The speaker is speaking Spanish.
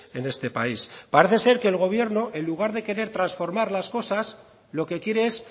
en este país parece ser que el gobierno en lugar de querer transformar las cosas lo que quiere es